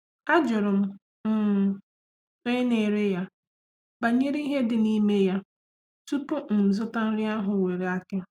Ajụrụ m um onye na-ere ya banyere ihe dị n'ime ya tupu m zụta nri ahụ nwere aki.